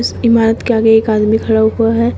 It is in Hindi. इस इमारत के आगे एक आदमी खड़ा हुआ है।